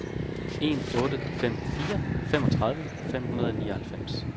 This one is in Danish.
en otte fem fire femogtredive fem hundrede og nioghalvfems